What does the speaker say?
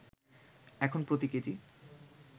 এখন প্রতি কেজি